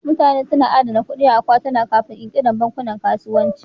Mutane suna adana kuɗi a cikin akwatuna Kafin ƙirƙirar bankunan kasuwanci.